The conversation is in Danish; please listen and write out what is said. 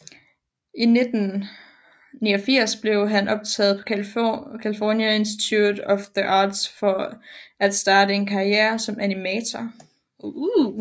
I 1989 blev han optaget på California Instiute of the Arts for at starte en karriere som animator